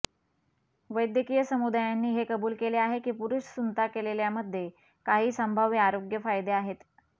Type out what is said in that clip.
वैद्यकीय समुदायांनी हे कबूल केले आहे की पुरुष सुंता केलेल्यामध्ये काही संभाव्य आरोग्य फायदे आहेत